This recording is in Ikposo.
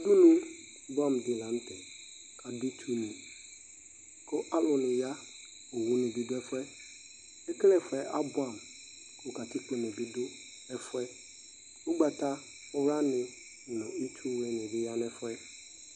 Udunu buɛ amʋ di la n'tɛ k'adu itsuni k'alʋ ni ya, owuni bi du ɛfʋɛ Ekel'ɛfuɛ abuɛ amʋ kʋ katikponi bi dʋ ɛfʋɛ, ʋgbatawlani nʋ itsu wlini bi du ɛfʋɛ